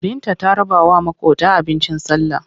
Binta ta rabawa maƙota abincin sallah.